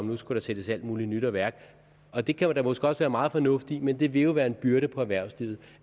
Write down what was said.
nu skulle sættes alt muligt nyt i værk og det kan måske også være meget fornuftigt men det vil jo være en byrde på erhvervslivet